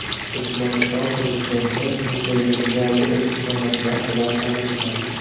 Turkmaniston prezidenti muzeydagi yangi eksponatlar bilan tanishgan.